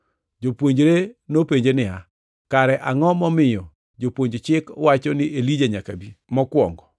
Jopuonjre nopenje niya, “Kare angʼo momiyo jopuonj chik wacho ni Elija nyaka bi mokwongo?”